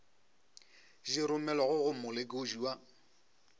di romelwago go molekodi wa